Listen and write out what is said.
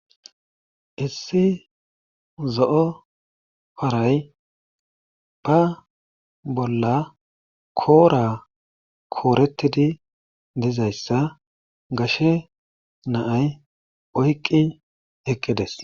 Issi zo7o paray ba bolla koora keerettidi dizayssa gashe na7ay oyqqi eqqides.